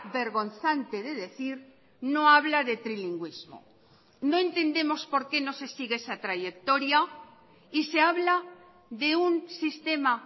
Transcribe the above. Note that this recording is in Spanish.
vergonzante de decir no habla de trilingüismo no entendemos por qué no se sigue esa trayectoria y se habla de un sistema